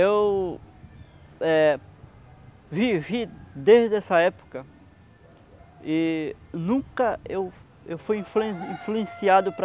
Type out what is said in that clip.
Eu, eh, vivi desde essa época e nunca eu eu fui influ influenciado para